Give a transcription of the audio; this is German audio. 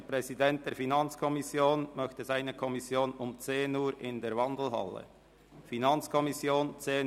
Der Präsident der FiKo möchte seine Kommission um 10 Uhr in der Wandelhalle treffen.